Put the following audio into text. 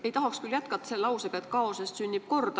Ei tahaks küll jätkata selle lausega, et kaosest sünnib kord.